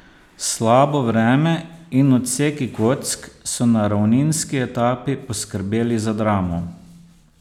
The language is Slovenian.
Slabo vreme in odseki kock so na ravninski etapi poskrbeli za dramo.